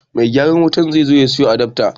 Mai gyaran wutan zai je ya siyo adafta